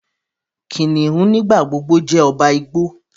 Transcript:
Kìnìún nigbagbogbo jé ọba igbó.